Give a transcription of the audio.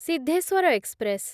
Siddheswar express